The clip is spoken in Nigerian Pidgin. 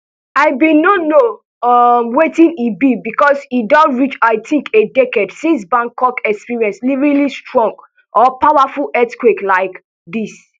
i bin no know know um wetin e be becos e don reach i tink a decade since bangkok experience really strong or powerful earthquake like dis